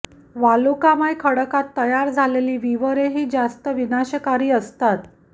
वालुकामय खडकांत तयार झालेली विवरे ही जास्त विनाशकारी असतात